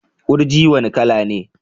Gurji wane kala ne?